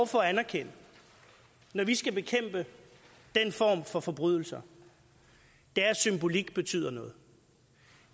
for at anerkende når vi skal bekæmpe den form for forbrydelse er at symbolik betyder noget